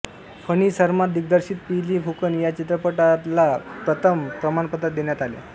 फणी सरमा दिग्दर्शित पियली फुकन या चित्रपटला प्रथम प्रमाणपत्र देण्यात आले